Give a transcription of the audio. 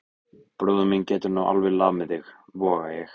Bróðir minn getur nú alveg lamið þig, voga ég.